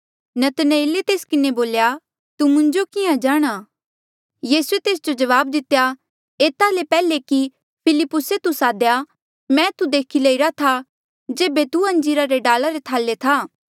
नतनएले तेस किन्हें बोल्या तू मुंजो किहाँ जाणहां यीसूए तेस जो जवाब दितेया एता ले पैहले कि फिलिप्पुसे तू सादेया मैं तू देखी लईरा था जेबे तू अंजीरा रे डाला रे थाले था